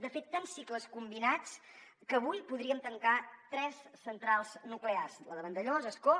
de fet tants cicles combinats que avui podríem tancar tres centrals nuclears la de vandellòs ascó